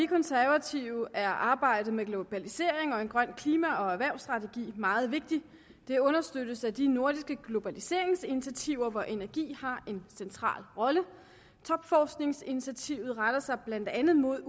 konservative er arbejdet med globalisering og en grøn klima og erhvervsstrategi meget vigtigt det understøttes af de nordiske globaliseringsinitiativer hvor energi har en central rolle topforskningsinitiativet retter sig blandt andet imod